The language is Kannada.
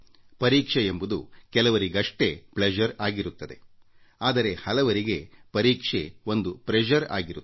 ಪರೀಕ್ಷೆಯೆಂಬುದು ಕೆಲವರಿಗಷ್ಟೇ ಸಂತಸ ಪ್ಲೆಶರ್ ಆಗಿರುತ್ತದೆ ಆದರೆ ಹಲವರಿಗೆ ಪರೀಕ್ಷೆ ಒಂದು ಒತ್ತಡ ಪ್ರೆಶರ್ ಆಗಿರುತ್ತದೆ